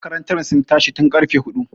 Makarantar sun tashi tun ƙarfe huɗu.